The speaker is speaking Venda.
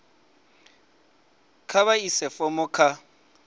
kha vha ise fomo kha